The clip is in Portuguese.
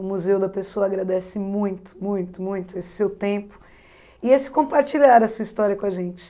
O Museu da Pessoa agradece muito, muito, muito esse seu tempo e esse compartilhar a sua história com a gente.